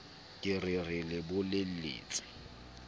ke re re le bolelletse